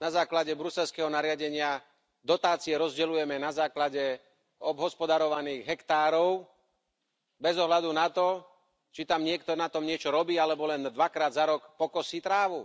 na základe bruselského nariadenia dotácie rozdeľujeme na základe obhospodarovaných hektárov bez ohľadu na to, či na tom niekto niečo robí alebo len dvakrát za rok pokosí trávu.